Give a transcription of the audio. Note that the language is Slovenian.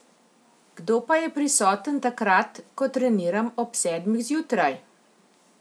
Kdo pa je prisoten takrat, ko treniram ob sedmih zjutraj?